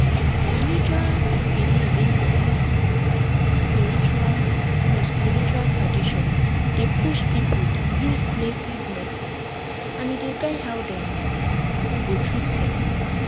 religion belief inside um spiritual um spiritual tradition dey push people to use native medicine and e dey guide how dem go treat person.